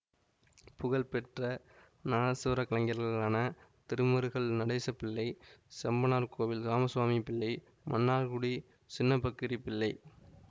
புகழ்பெற்ற நாதசுவர கலைஞர்களான திருமருகல் நடேச பிள்ளை செம்பனார்கோவில் ராமசுவாமி பிள்ளை மன்னார்குடி சின்னப்பக்கிரிப் பிள்ளை